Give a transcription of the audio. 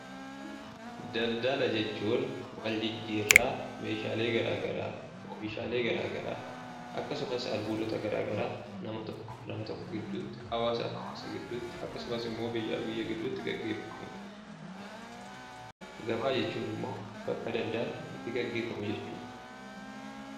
Daldala jechuun wal jijjiirraa meeshaalee garaagaraa oomishaalee garaagaraa akkasumas albuudota garaagaraa namaa fi nama gidduutti hawaasaa fi hawaasa gidduutti biyyaa fi biyya gidduutti gaggeeffamudha. Gabaa jechuun immoo bakka daldalli itti gaggeeffamu jechuudha.